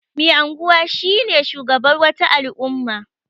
Mai anguwa shine shugaban wata al'umma.